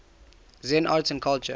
zen art and culture